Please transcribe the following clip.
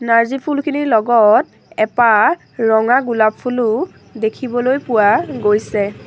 নাৰ্জী ফুলখিনিৰ লগত এপাহ ৰঙা গুলাপ ফুলো দেখিবলৈ পোৱা গৈছে।